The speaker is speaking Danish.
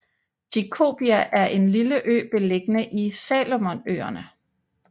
Tikopia er en lille ø beliggende i Salomonøerne